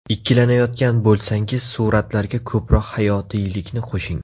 Ikkilanayotgan bo‘lsangiz suratlarga ko‘proq hayotiylikni qo‘shing.